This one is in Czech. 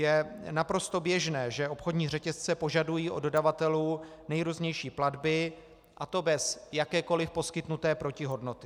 Je naprosto běžné, že obchodní řetězce požadují od dodavatelů nejrůznější platby, a to bez jakékoliv poskytnuté protihodnoty.